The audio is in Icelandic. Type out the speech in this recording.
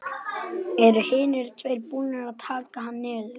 Eru hinir tveir búnir að taka hann niður.